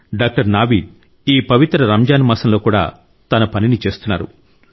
doctor Naveed ఈ పవిత్ర రంజాన్ మాసంలో కూడా తన పనిని చేస్తున్నారు